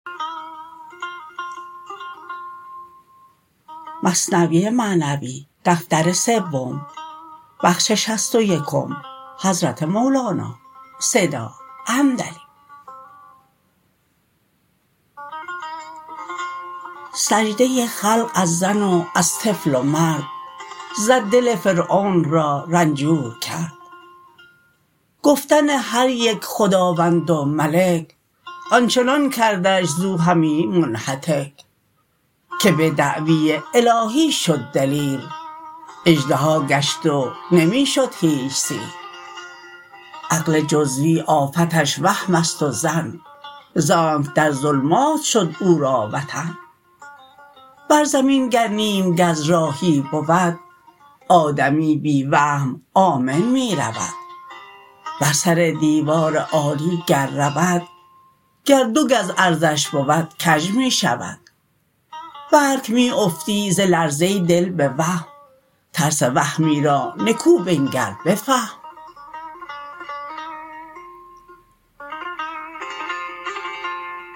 سجده خلق از زن و از طفل و مرد زد دل فرعون را رنجور کرد گفتن هریک خداوند و ملک آنچنان کردش ز وهمی منهتک که به دعوی الهی شد دلیر اژدها گشت و نمی شد هیچ سیر عقل جزوی آفتش وهمست و ظن زانک در ظلمات شد او را وطن بر زمین گر نیم گز راهی بود آدمی بی وهم آمن می رود بر سر دیوار عالی گر روی گر دو گز عرضش بود کژ می شوی بلک می افتی ز لرزه دل به وهم ترس وهمی را نکو بنگر بفهم